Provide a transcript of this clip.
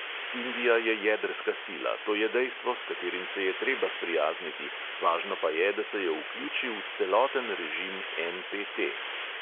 Indija je jedrska sila, to je dejstvo, s katerim se je treba sprijazniti, važno pa je, da se jo vključi v celoten režim NPT.